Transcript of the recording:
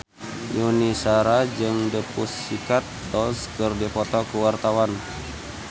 Yuni Shara jeung The Pussycat Dolls keur dipoto ku wartawan